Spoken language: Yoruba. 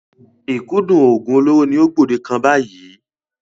Ìkúndù oògùn olóró ni ó gbòde kàn báyìí.